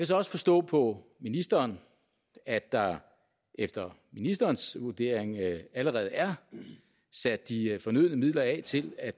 så også forstå på ministeren at der efter ministerens vurdering allerede er sat de fornødne midler af til at